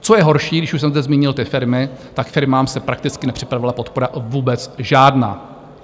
Co je horší, když už jsem zde zmínil ty firmy, tak firmám se prakticky nepřipravila podpora vůbec žádná.